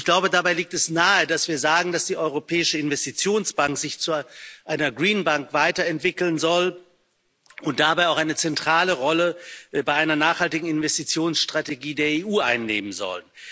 Und ich glaube, da liegt es nahe, dass wir sagen, dass die Europäische Investitionsbank sich zu einer weiterentwickeln und dabei auch eine zentrale Rolle bei einer nachhaltigen Investitionsstrategie der EU einnehmen soll.